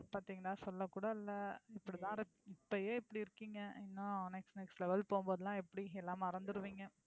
பாத்தீங்களா சொல்ல கூட இல்ல இப்படிதான் இப்பயே இப்படி இருக்கீங்க இன்னும் next next level போகும்போது எல்லாம் எப்படி எல்லாம் மறந்துடுவீங்க.